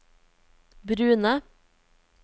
brune